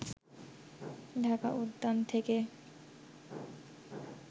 ঢাকা উদ্যান থেকে